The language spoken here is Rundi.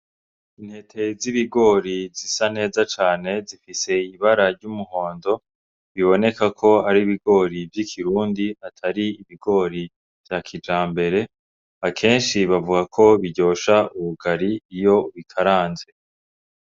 Intete z'ibigori zisa neza cane zifise ibara ry'umuhondo, biboneka ko ari ibigori vy'ikirundi atari ibigori vya kijambere. Akenshi bavuga ko biryosha ubugari iyo bikaranze.